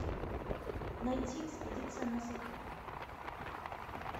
найти экспедиция на сатурн